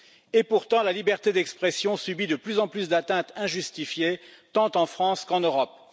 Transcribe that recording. Et pourtant, la liberté d'expression subit de plus en plus d'atteintes injustifiées, tant en France qu'en Europe.